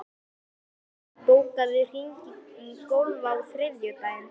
Stína, bókaðu hring í golf á þriðjudaginn.